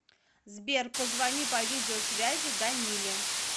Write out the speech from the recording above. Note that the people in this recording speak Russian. сбер позвони по видеосвязи даниле